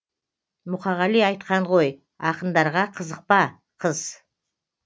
мұқағали айтқан ғой ақындарға қызықпа қыз